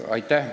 Aitäh!